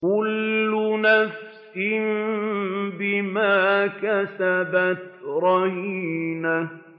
كُلُّ نَفْسٍ بِمَا كَسَبَتْ رَهِينَةٌ